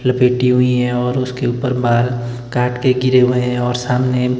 लपेटी हुई हैं और उसके ऊपर बाहर काट के गिरे हुए हैं और सामने--